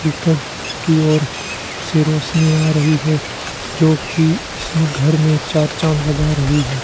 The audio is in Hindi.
ऊपर की ओर से रोशनी आ रही है जोकि इसमें घर में चार चांद लग रही है